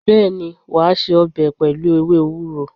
Bẹẹni, wa se ọbẹ̀ pẹlu ewé ewúro